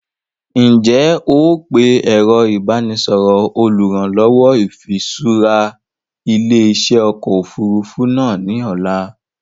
Ǹ jẹ́ ó pe ẹ̀rọ ìbánisọọ̀rọ̀ olùrànlọ́wọ́ ìfiṣura ilé-iṣẹ́ ọkọ̀ Òfurufú náà ni ọ̀la